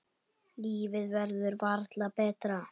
Lífið verður varla betra.